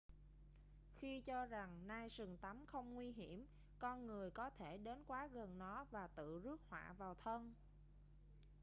khi cho rằng nai sừng tấm không nguy hiểm con người có thể đến quá gần nó và tự rước họa vào thân